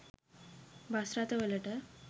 bus රථවලට